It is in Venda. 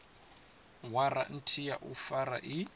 waranthi ya u fara i